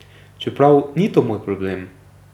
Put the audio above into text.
Čeprav ni to moj problem.